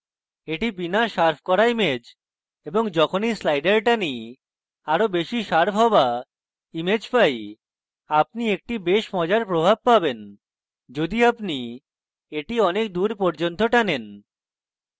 এটি বিনা শার্প করা image এবং যখন এই slider টানি আরো বেশি শার্প হওয়া image পাই আপনি একটি বেশ মজার প্রভাব পাবেন যদি আপনি এটি অনেক দূর পর্যন্ত টানেন